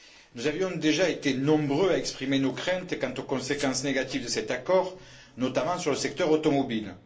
Nous avions déjà été nombreux à exprimer nos craintes quant aux conséquences négatives de cet accord, notamment sur le secteur automobile.